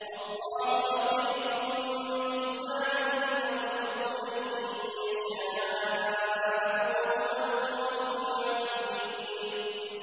اللَّهُ لَطِيفٌ بِعِبَادِهِ يَرْزُقُ مَن يَشَاءُ ۖ وَهُوَ الْقَوِيُّ الْعَزِيزُ